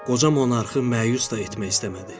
Qoca monarxı məyus da etmək istəmədi.